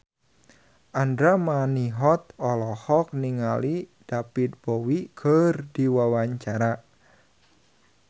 Andra Manihot olohok ningali David Bowie keur diwawancara